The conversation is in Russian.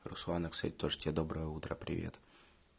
руслана к стати тоже тебе доброе утро привет